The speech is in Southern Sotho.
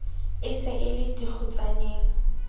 e se e le dikgutsaneng